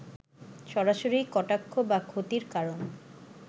সরাসরি কটাক্ষ বা ক্ষতির কারণ